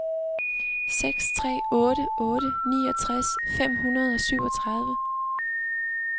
seks tre otte otte niogtres fem hundrede og syvogtredive